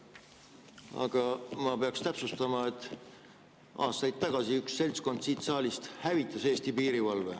Aga ma pean täpsustama, et aastaid tagasi üks seltskond siit saalist hävitas Eesti piirivalve.